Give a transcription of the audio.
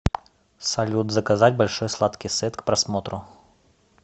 салют заказать большой сладкий сет к просмотру